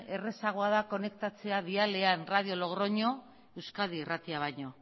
errazagoa da konektatzea dialean radio logroño euskadi irratia baino